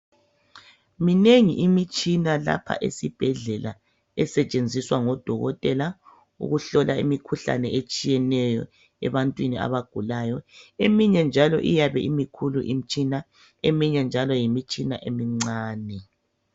Minengi imitshina lapha esibhedlela esetshenziswa ngodokotela ukuhlola imikhuhlane etshiyeneyo ebantwini abagulayo eminye njalo imikhulu imitshina eminye njalo yimitshina emincani.